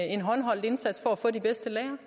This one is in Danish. en håndholdt indsats for at få de bedste lærere